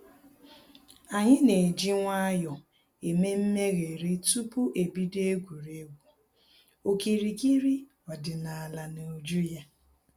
Anyị na-eji nwayọ eme mmegharị tupu e bido egwuregwu okirikiri ọdịnaala n'uju ya